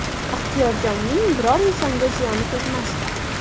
Ixtiyorjonning biror insonga ziyoni tegmasdi.